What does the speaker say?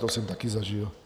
To jsem taky zažil.